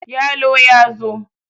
yalo ya zo!